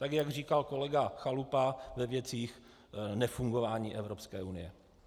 Tak jak říkal kolega Chalupa ve věcech nefungování Evropské unie.